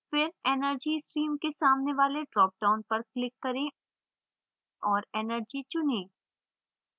फिर energy stream के सामने वाले dropdown पर click करें और energy चुनें